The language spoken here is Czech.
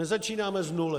Nezačínáme z nuly.